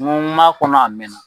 N b'a kɔnɔ a mɛn na.